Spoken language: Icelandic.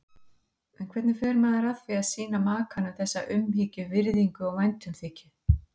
En hvernig fer maður að því að sýna makanum þessa umhyggju, virðingu og væntumþykju?